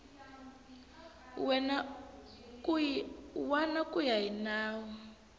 wana ku ya hi nawu